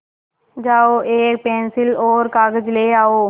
जाओ एक पेन्सिल और कागज़ ले आओ